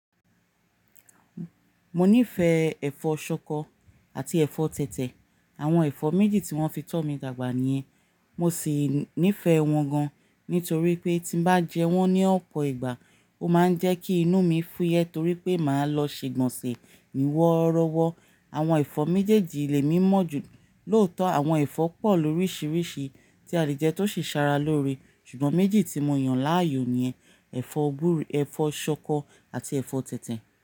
Mo nífẹ̀ẹ́ ẹ̀fọ́ ṣọkọ àti ẹ̀fọ́ tẹ̀tẹ̀. Àwọn ẹ̀fọ́ méjì tí wọ́n fi tọ́ mi dàgbà ni yen. Mo sì nífẹ̀ẹ́ wọn gan, nítorí pé tí bá jẹ wọ́n ní ọ̀pọ̀ ìgbà, ó máa ń jẹ́ kí inú mi fúyẹ́ torí pé màá lọ ṣe ìgbọ̀nsẹ̀ wọ́rọ́wọ́. Àwọn ẹ̀fọ́ méjèèjì lè mí mọ́ jù. Lóòótọ́ àwọn ẹ̀fọ́ pọ̀ lóríṣiríṣi tí a le jẹ tó sì sara loore, ṣùgbọ́n méjì tí mo yàn láàyò ni yen, ẹ̀fọ́ gbúre, ẹ̀fọ́ ṣọkọ àti ẹ̀fọ́ tẹ̀tẹ̀